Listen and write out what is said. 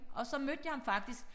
Og så mødte jeg ham faktisk